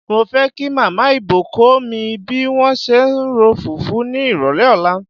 Mo fẹ́ kí Màmá Ibò kó mi bí wọ́n ṣe ń ro fùfú ní ìrọ̀lẹ́ ọ̀la.